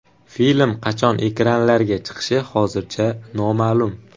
Film qachon ekranlarga chiqishi hozircha noma’lum.